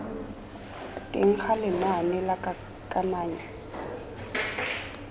teng ga lenane la kananyo